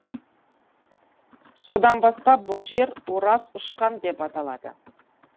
содан бастап бұл жер ораз ұшқан деп аталады